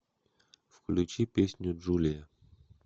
включи песню джулия